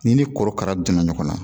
Ni ni korokara donna ɲɔgɔn na